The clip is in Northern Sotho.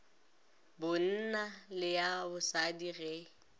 bonna le ya bosadi ge